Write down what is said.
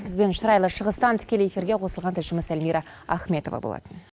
біздің шырайлы шығыстан тікелей эфирге қосылған тілшіміз эльмира ахметова болатын